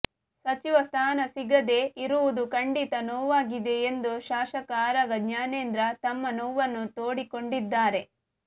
ಸಚಿವ ಸ್ಥಾನ ಸಿಗದೇ ಇರುವುದು ಖಂಡಿತ ನೋವಾಗಿದೆ ಎಂದು ಶಾಸಕ ಆರಗ ಜ್ಞಾನೇಂದ್ರ ತಮ್ಮ ನೋವನ್ನು ತೋಡಿಕೊಂಡಿದ್ದಾರೆ